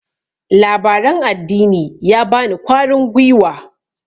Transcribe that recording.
labaran addini ya bani kwarin gwiwa